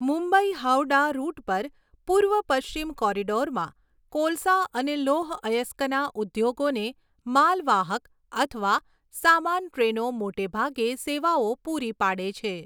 Mumbai Howrah route પર પૂર્વ પશ્ચિમ કોરિડોરમાં કોલસા અને લોહ અયસ્કના ઉદ્યોગોને માલવાહક અથવા સામાન ટ્રેનો મોટે ભાગે સેવાઓ પૂરી પાડે છે.